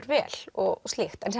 vel og slíkt en